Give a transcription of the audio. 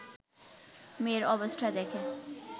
মেয়ের অবস্থা দেখে